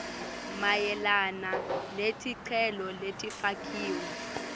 mayelana neticelo letifakiwe